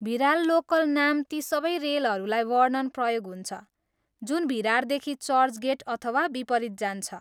Virar local नाम ती सबै रेलहरूलाई वर्णन प्रयोग हुन्छ जुन भिरारदेखि चर्चगेट अथवा विपरीत जान्छ।